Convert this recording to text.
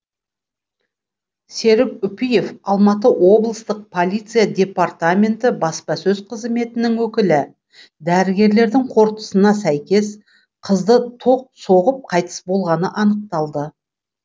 серік үпиев алматы облыстық полиция департаменті баспасөз қызметінің өкілі дәрігерлердің қортындысына сәйкес қызды тоқ соғып қайтыс болғаны анықталды